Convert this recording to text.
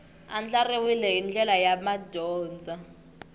andlariwile hi ndlela ya madyondza